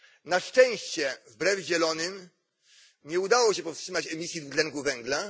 Na szczęście, wbrew Zielonym, nie udało się powstrzymać emisji dwutlenku węgla.